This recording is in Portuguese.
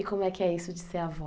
E como é que é isso de ser avó?